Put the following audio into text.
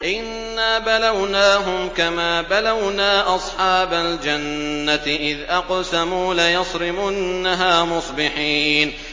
إِنَّا بَلَوْنَاهُمْ كَمَا بَلَوْنَا أَصْحَابَ الْجَنَّةِ إِذْ أَقْسَمُوا لَيَصْرِمُنَّهَا مُصْبِحِينَ